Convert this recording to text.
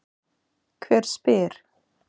Hver spyr?